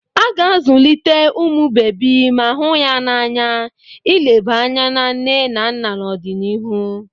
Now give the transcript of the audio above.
A ga-azụlite ụmụ bebi ma hụ ya n'anya, ileba anya na nne na nna n'ọdịnihu.